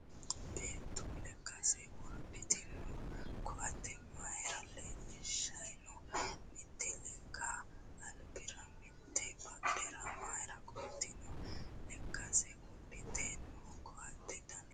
Beetto lekkasera wodhitino koatte mayiira leellishayi noo? Mitte lekka albira mitte badhera mayiira qolitinno? Lekkasera wodhite no koatte Dana hiittote?